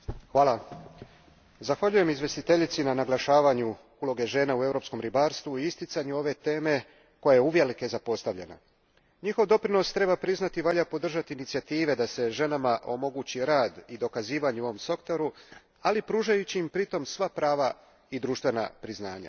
Gospodine predsjedniče, zahvaljujem izvjestiteljici na naglašavanju uloge žena u europskom ribarstvu i isticanju ove teme koja je uvelike zapostavljena. Njihov doprinos, treba priznati, valja podržati inicijative da se ženama omogući rad i dokazivanje u ovom sektoru, ali pružajući im pritom sva prava i društvena priznanja.